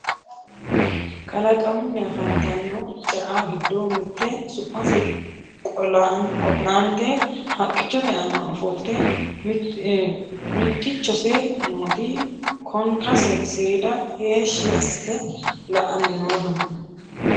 kalaqamunni afantanno ce"a giddo mitte su'mase qo'laante haqqichote aana ofolte mittichose nooti konkase seeda heeshshhi assite la"anni no dubbu giddo